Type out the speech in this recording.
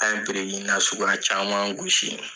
An ye biriki nasugu caman gosi.